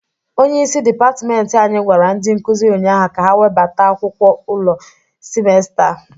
Onyeisi dịpatment anyị gwara ndị nkụzị ụnyaahụ ka ha webata akwụkwọ ule simesta a.